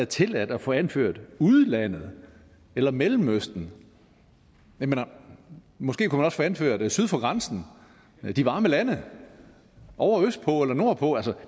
tilladt at få anført udlandet eller mellemøsten og måske kunne få anført syd for grænsen de varme lande ovre østpå eller nordpå